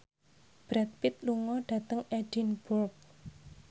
Brad Pitt lunga dhateng Edinburgh